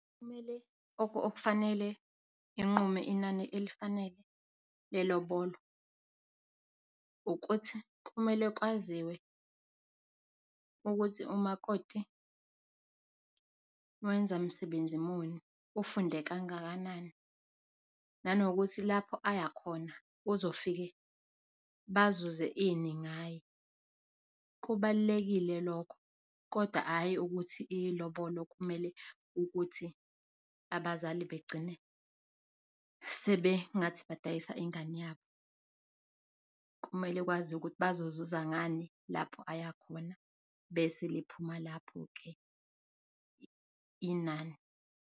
Kumele okufanele inqume inani elifanele lelobolo ukuthi kumele kwaziwe ukuthi umakoti wenza msebenzi muni, ufunde kangakanani nanokuthi lapho ayakhona uzofike bazuze ini ngaye. Kubalulekile lokho, kodwa hayi ukuthi ilobolo kumele ukuthi abazali begcine sebengathi badayisa ingane yabo. Kumele ukwazi ukuthi bezozuza ngani lapho ayakhona bese liphuma lapho ke inani,